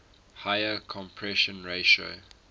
higher compression ratio